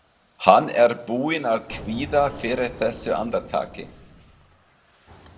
Hann er búinn að kvíða fyrir þessu andartaki.